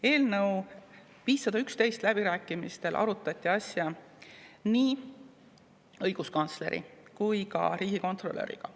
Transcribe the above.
Eelnõu 511 läbirääkimistel arutati asja nii õiguskantsleri kui ka riigikontrolöriga.